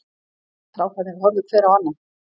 Strákarnir horfðu hver á annan.